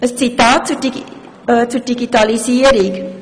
Ein Zitat zur Digitalisierung: